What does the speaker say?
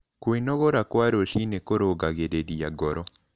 Kwĩnogora kwa rũcĩĩnĩ kũrũngagĩrĩrĩa ngoro